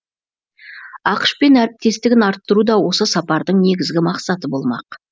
ақш пен әріптестігін арттыру да осы сапардың негізгі мақсаты болмақ